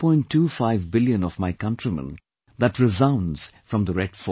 25 billion of my countrymen that resounds from the Red Fort